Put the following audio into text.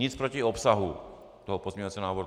Nic proti obsahu toho pozměňovacího návrhu.